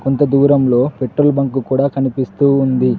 కొంత దూరంలో petrol bunk కూడా కనిపిస్తూ ఉంది.